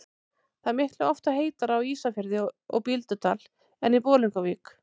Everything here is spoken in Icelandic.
Það er miklu oftar heitara á Ísafirði og Bíldudal en í Bolungarvík.